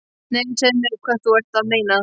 Nei, segðu mér hvað þú ert að meina.